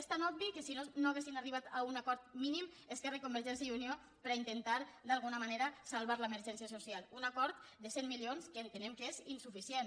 és tan obvi que si no no haurien arribat a un acord mínim esquerra i convergència i unió per a intentar d’alguna manera salvar l’emergència social un acord de cent milions que entenem que és insuficient